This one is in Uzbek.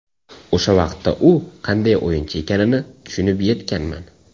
O‘sha vaqtda u qanday o‘yinchi ekanini tushunib yetganman.